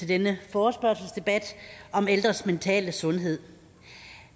denne forespørgselsdebat om ældres mentale sundhed